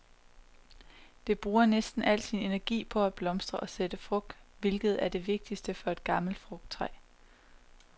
Det bruger næsten al sin energi på at blomstre og sætte frugt, hvilket er det vigtigste for et gammelt frugttræ.